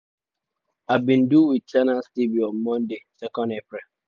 im bin do wit channels tv on monday 2 april.